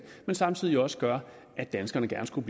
men som side også gør at danskerne gerne skulle